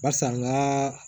Barisa n ka